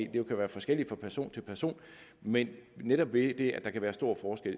det kan være forskelligt fra person til person men netop ved det at der kan være stor forskel